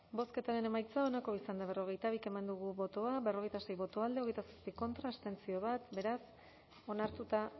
bozketaren emaitza onako izan da hirurogeita hamalau eman dugu bozka berrogeita sei boto alde hogeita zazpi contra bat abstentzio beraz onartuta